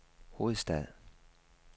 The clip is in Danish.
hovedstad